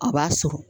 A b'a sɔrɔ